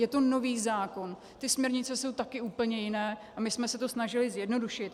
Je to nový zákon, ty směrnice jsou taky úplně jiné a my jsme se to snažili zjednodušit.